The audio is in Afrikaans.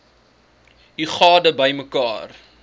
u gade bymekaar